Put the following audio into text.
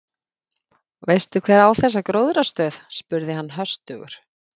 Veistu hver á þessa gróðrarstöð? spurði hann höstugur.